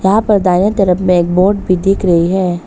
यहाँ पर दाया तरफ मे एक बोट भी दिख रही है।